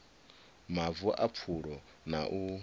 mavu a pfulo na u